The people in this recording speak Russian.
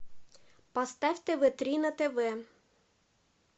поставь тв три на тв